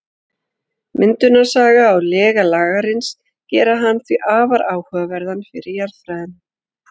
Myndunarsaga og lega Lagarins gera hann því afar áhugaverðan fyrir jarðfræðina.